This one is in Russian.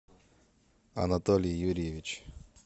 анатолий юрьевич